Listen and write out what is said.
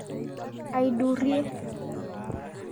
Aidurie.